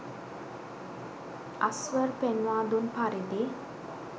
අස්‌වර් පෙන්වාදුන් පරිදි